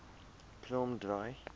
kromdraai